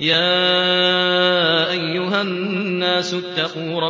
يَا أَيُّهَا النَّاسُ اتَّقُوا